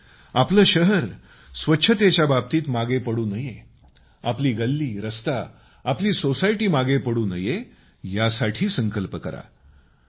आणि आपलं शहर स्वच्छतेच्या बाबतीत मागं पडू नये आपली गल्लीरस्ता आपली सोसायटी मागे पडू नये यासाठी संकल्प करा